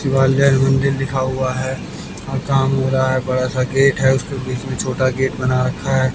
ग्वालियर मंदिर लिखा हुआ है और काम हो रहा है बड़ा सा गेट है उसके बीच में छोटा गेट बना रखा है।